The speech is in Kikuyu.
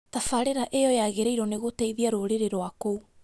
Tabarĩra ĩyo yagĩrĩirwo nĩ gũteithia rũrĩrĩ rwa kũu